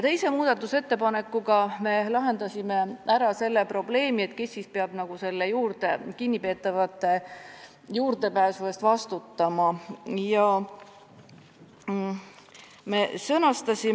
Teise muudatusettepanekuga me soovime lahendada küsimuse, kes peab selle eest vastutama, et kinnipeetavad teatud infole ligi pääseksid.